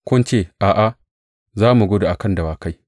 Kun ce, A’a, za mu gudu a kan dawakai.’